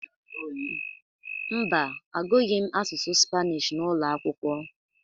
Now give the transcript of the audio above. Mba, agụghị m asụsụ Spanish n’ụlọ akwụkwọ